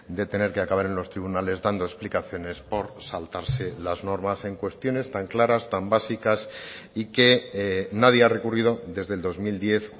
de tener que acabar en los tribunales dando explicaciones por saltarse las normas en cuestiones tan claras tan básicas y que nadie ha recurrido desde el dos mil diez